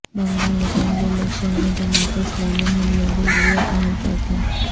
Bengal assembly election میں جماعت اسلامی ہند نے بھی لیا اہم فیصلہ